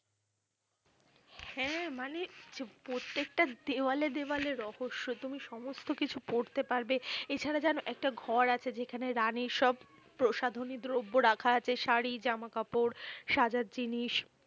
হ্যাঁ মানে প্রত্যেকটা দেওয়ালে দেওয়ালে রহস্য। তুমি সমস্তকিছু পড়তে পাড়বে এছাড়া জানো একটা ঘর আছে। যেখানে রানির সব প্রশাধনী দ্রব্য রাখা আছে ।শাড়ী, জামাকাপড়, সাজার জিনিস